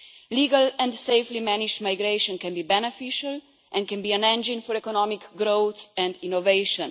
Legal and safely managed migration can be beneficial and can be an engine for economic growth and innovation.